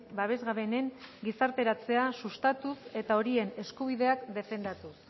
babesgabeenen gizarteratzea sustatuz eta horien eskubideak defendatuz